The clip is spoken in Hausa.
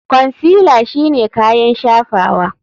Consealer shine kayan shafawa.